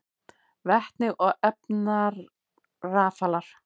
Vetni og efnarafalar: